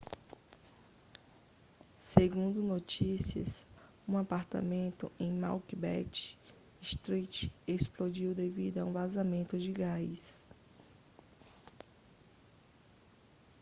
segundo notícias um apartamento em macbeth street explodiu devido a um vazamento de gás